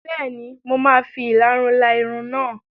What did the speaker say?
Bẹ́ẹ̀ni, mo máa fi ìlarun la irun náà.